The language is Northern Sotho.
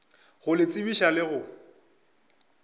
go le tsebiša le go